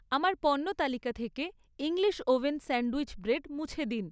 আমার পণ্য তালিকা থেকে ইংলিশ ওভেন স্যান্ডউইচ ব্রেড মুছে দিন।